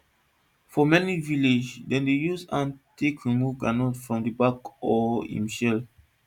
for many village dem dey use hand take remove groundnut from im bark or im shell